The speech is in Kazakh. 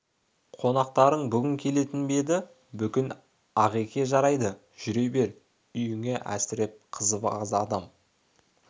қонақтарың бүгін келетін бе еді бүгін ағеке жарайды жүре бер үйіңе әсіреп қызық адам